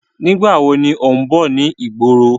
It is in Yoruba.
Nígbàwo ni ó ń bọ̀ ni ìgboro?